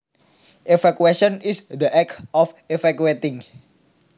Evacuation is the act of evacuating